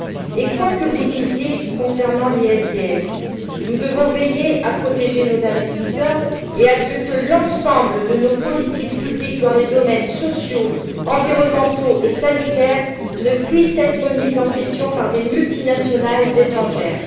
Et quoi que vous disiez concernant l'ISDS, nous devons veiller à protéger nos investisseurs et à ce que l'ensemble de nos politiques publiques dans les domaines sociaux, environnementaux et sanitaires ne puisse être remis en question par des multinationales étrangères.